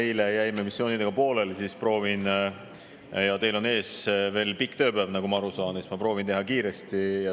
Eile jäime missioonide pooleli ja kuna teil on ees veel pikk tööpäev, nagu ma aru saan, siis ma proovin teha kiiresti.